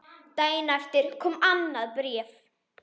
Daginn eftir kom annað bréf.